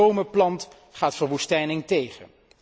Wie bomen plant, gaat verwoestijning tegen.